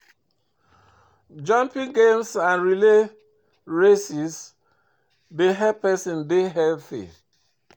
Jumping games and relay race dey help person dey healthy